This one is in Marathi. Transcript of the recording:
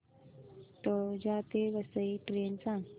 तळोजा ते वसई ट्रेन सांग